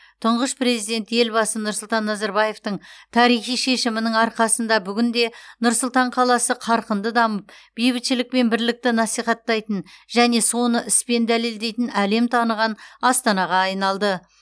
тұңғыш президент елбасы нұрсұлтан назарбаевтың тарихи шешімінің арқасында бүгінде нұр сұлтан қаласы қарқынды дамып бейбітшілік пен бірлікті насихаттайтын және соны іспен дәлелдейтін әлем таныған астанаға айналды